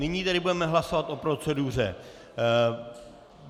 Nyní tedy budeme hlasovat o proceduře.